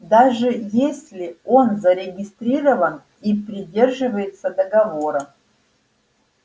даже если он зарегистрирован и придерживается договора